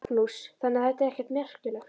Magnús: Þannig að þetta er ekkert merkilegt?